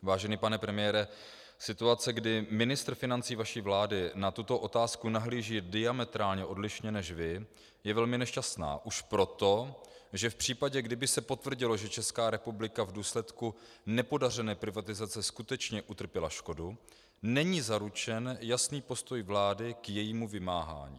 Vážený pane premiére, situace, kdy ministr financí vaší vlády na tuto otázku nahlíží diametrálně odlišně než vy, je velmi nešťastná už proto, že v případě, kdyby se potvrdilo, že Česká republika v důsledku nepodařené privatizace skutečně utrpěla škodu, není zaručen jasný postoj vlády k jejímu vymáhání.